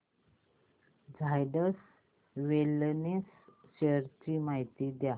Zydus Wellness shares ची माहिती द्या